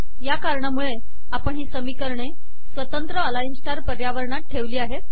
या कारणामुळे आपण ही समीकरणे स्वतंत्र अलाइन स्टार पर्यावरणात ठेवली आहेत